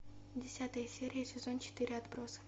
десятая серия сезон четыре отбросы